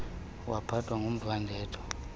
waphathwa ngumva ndedwa